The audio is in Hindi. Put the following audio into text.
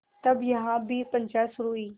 तब यहाँ भी पंचायत शुरू हुई